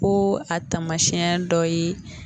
Ko a taamasiyɛn dɔ ye